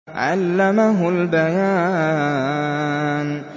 عَلَّمَهُ الْبَيَانَ